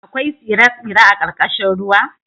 Akwai tsire-tsire a ƙarƙashin ruwa?